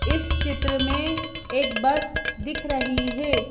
इस चित्र में एक बस दिख रही है।